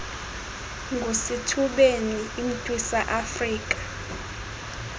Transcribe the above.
ngusithubeni imntwisa iafrika